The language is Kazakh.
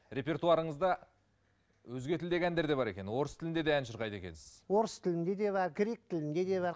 репертуарыңызда өзге тілдегі әндер де бар екен орыс тілінде ән шырқайды екенсіз орыс тілінде де бар грек тілінде де бар